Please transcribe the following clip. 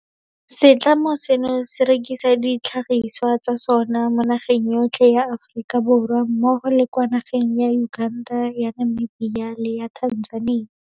Setlamo seno se rekisa ditlhagisiwa tsa sona mo nageng yotlhe ya Aforika Borwa mmogo le kwa nageng ya Uganda, ya Namibia, le ya Tanzania.